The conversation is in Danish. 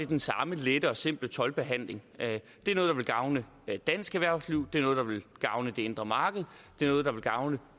den samme lette og simple toldbehandling det er noget der vil gavne dansk erhvervsliv det er noget der vil gavne det indre marked det er noget der vil gavne